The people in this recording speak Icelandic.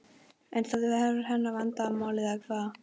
En það er hennar vandamál eða hvað?